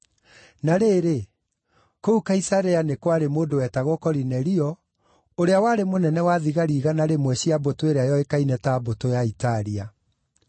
Na rĩrĩ, kũu Kaisarea nĩ kwarĩ mũndũ wetagwo Korinelio, ũrĩa warĩ mũnene-wa-thigari-igana rĩmwe cia mbũtũ ĩrĩa yoĩkaine ta Mbũtũ ya Italia.